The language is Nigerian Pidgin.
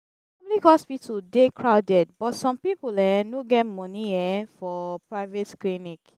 public hospital dey crowded but some pipo um no get money um for private clinic.